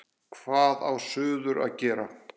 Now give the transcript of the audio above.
Hvað á suður að gera?